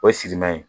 O ye simin